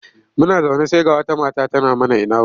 Muna zaune sai ga wata mata tana mana ina wuni.